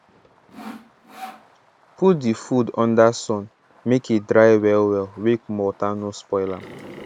put the food under sun make e dry well well make wota no spoil am